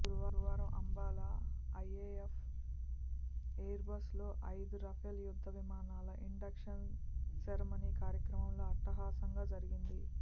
గురువారం అంబాలా ఐఏఎఫ్ ఏయిర్బేస్లో ఐదు రఫేల్ యుద్ధ విమానాల ఇండక్షన్ సెర్మనీ కార్యక్రమంలో అట్టహాసంగా జరిగింది